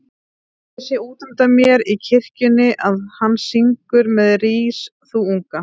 Ég sé útundan mér í kirkjunni að hann syngur með Rís þú unga